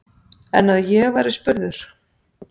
En að ég væri spurður?